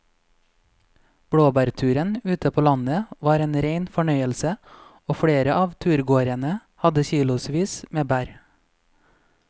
Blåbærturen ute på landet var en rein fornøyelse og flere av turgåerene hadde kilosvis med bær.